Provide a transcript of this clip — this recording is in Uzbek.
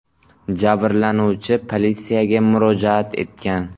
Jabrlanuvchi politsiyaga murojaat etgan.